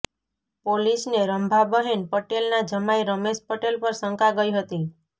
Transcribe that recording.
પોલીસને રંભાબહેન પટેલના જમાઇ રમેશ પટેલ પર શંકા ગઇ હતી